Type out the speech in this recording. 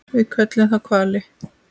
Við köllum þá hvali.